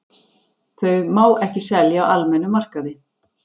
Þau má ekki selja á almennum markaði.